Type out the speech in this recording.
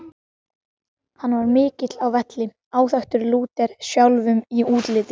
Hann var mikill á velli, áþekkur Lúter sjálfum í útliti.